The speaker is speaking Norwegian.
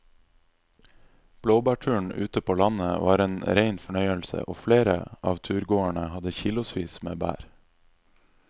Blåbærturen ute på landet var en rein fornøyelse og flere av turgåerene hadde kilosvis med bær.